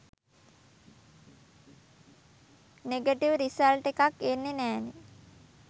negative result එකක් එන්නෙ නෑනෙ